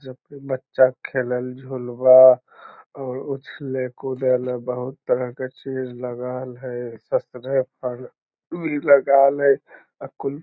जबकि बच्चा खेलल झुलुवा और उछले-कूदे में बहुत तरह के चीज लगाल हैं पे लगाल है अ कुल --